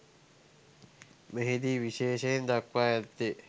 මෙහි දී විශේෂයෙන් දක්වා ඇත්තේ